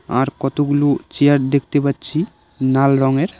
আর কতগুলু চেয়ার দেকতে পাচ্ছি নাল রঙের।